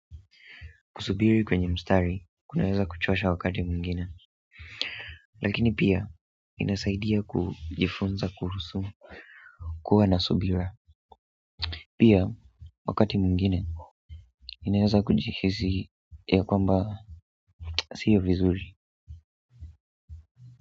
Kusubiri kwenye mstari, kunaweza kuchosha wakati mwingine. Lakini pia, inasaidia kujifunza kuhusu kuwa na subira. Pia, wakati mwingine, inaweza kujihisi ya kwamba sio vizuri.